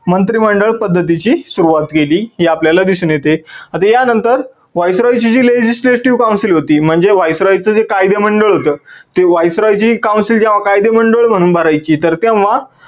मंत्रिमंडळ पद्धतीची सुरुवात केली हे आपल्याला दिसून येते. आता या नंतर viceroy ची जी legislative council होती म्हणजे viceroy च जे कायदेमंडळ होत ते viceroy ची council जेव्हा कायदे मंडळ म्हणून भरायची तर तेव्हा